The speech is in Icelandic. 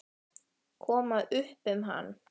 Koma upp um hann.